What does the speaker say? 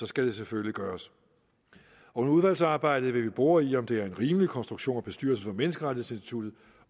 skal det selvfølgelig gøres under udvalgsarbejdet vil vi bore i om det er en rimelig konstruktion at bestyrelsen for menneskerettighedsinstituttet